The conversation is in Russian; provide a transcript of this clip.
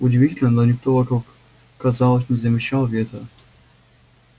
удивительно но никто вокруг казалось не замечал ветра